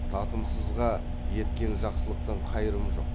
татымсызға еткен жақсылықтың қайырымы жоқ